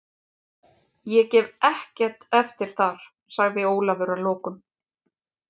Ég gef ekkert eftir þar, sagði Ólafur að lokum.